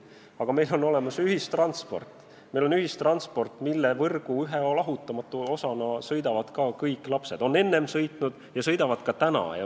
Aga meil on olemas ka ühistransport, mille võrgu ühe lahutamatu osana sõidavad ka kõik lapsed – on enne sõitnud ja sõidavad ka edaspidi.